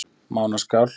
Mánaskál